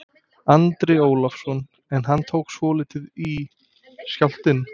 Andri Ólafsson: En hann tók svolítið í, skjálftinn?